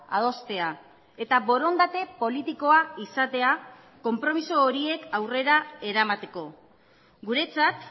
adostea eta borondate politikoa izatea konpromiso horiek aurrera eramateko guretzat